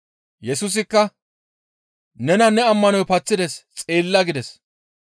Yesusikka, «Nena ne ammanoy paththides xeella» gides.